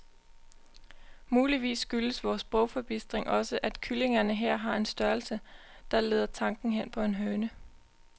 Muligvis skyldes vor sprogforbistring også, at kyllingerne her har en størrelse, der leder tanken hen på en høne.